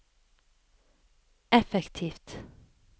effektivt